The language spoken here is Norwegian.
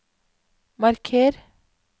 marker